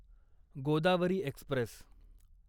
Godavari Express